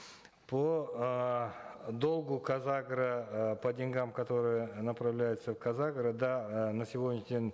по эээ долгу казагро э по деньгам которые направляются в казагро да э на сегодняшний день